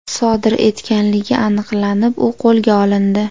sodir etganligi aniqlanib, u qo‘lga olindi.